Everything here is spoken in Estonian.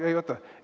Ei, oota.